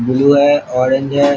Blue है orange है।